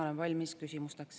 Olen valmis küsimusteks.